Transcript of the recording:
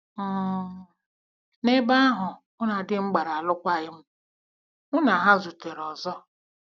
um N'ebe ahụ, mụ na di m gbara alụkwaghịm, mụ na ha zutere ọzọ.